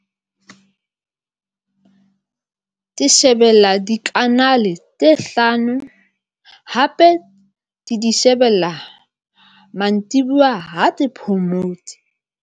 Ke shebella dikanale tse hlano hape ke di shebella mantsibua ha ke phomotse.